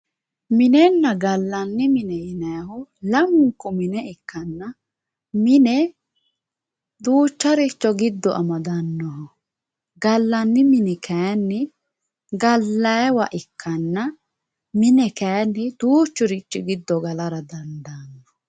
Minenna gallanni mine yinannihu lamunku mine ikkanna mine duucharicho giddo amadano, gallanni mini kayinni gallanniwa ikkanna mine kayinni duuchurichi gallara dandaano.